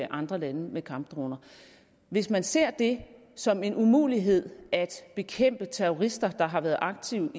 andre lande med kampdroner hvis man ser det som en umulighed at bekæmpe terrorister der har været aktive